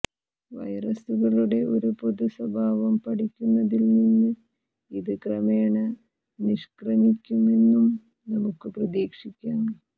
വൈറസുകളുടെ ഒരു പൊതുസ്വഭാവം പഠിക്കുന്നതിൽനിന്ന് ഇത് ക്രമേണ നിഷ്ക്രമിക്കുമെന്നും നമുക്ക് പ്രതീക്ഷിക്കാം